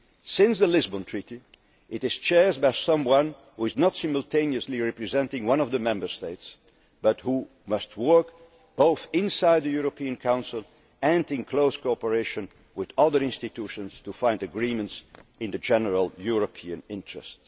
Bank. Since the Lisbon Treaty, it is being chaired by someone who is not simultaneously representing one of the Member States but who must work both inside the European Council and in close cooperation with the other institutions to find agreements in the general European